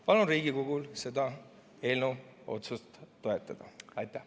Palun Riigikogul seda otsuse eelnõu toetada!